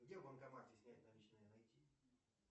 где в банкомате снять наличные найти